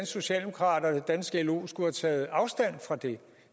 socialdemokrater og det danske lo skulle have taget afstand fra det